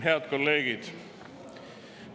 Head kolleegid!